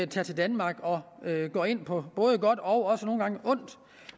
tager til danmark og går ind på både godt og også nogle gange ondt